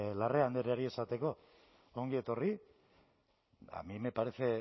larrea andreari esateko ongi etorri a mí me parece